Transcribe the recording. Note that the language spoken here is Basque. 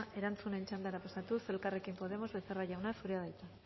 erantzunen txandara pasatuz elkarrekin podemos becerra jauna zurea da hitza